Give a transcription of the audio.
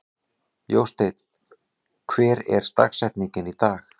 Jósteinn, hver er dagsetningin í dag?